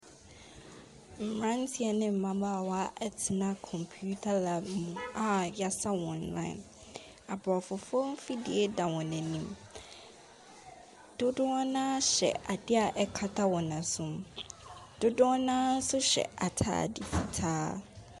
Mmranteɛ ne mmabaawa atena kɔmputa lab a yasa wɔn line . Aborɔfofoɔ mfidie da wɔn anim . dodoɔ naa hyɛ adeɛ a ɛkata wɔn asom dodoɔ naa nso hyɛ ataade fitaa.